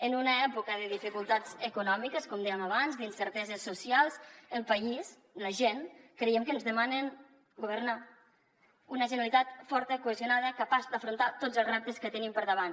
en una època de dificultats econòmiques com dèiem abans d’incerteses socials el país la gent creiem que ens demanen governar una generalitat forta cohesionada capaç d’afrontar tots els reptes que tenim per davant